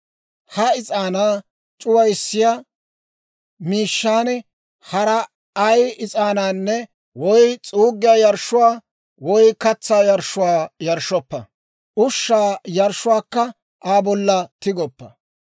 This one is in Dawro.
Ha is'aanaa c'uwissiyaa miishshaan hara ay is'aananne, woy s'uugiyaa yarshshuwaa, woy katsaa yarshshuwaa yarshshoppa; ushshaa yarshshuwaakka Aa bolla tigoppo.